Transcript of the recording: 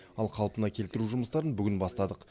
ал қалпына келтіру жұмыстарын бүгін бастадық